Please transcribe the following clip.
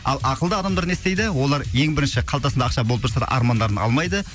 ал ақылды адамдар не істейді олар ең бірінші қалтасында ақша болып тұрса да армандарын алмайды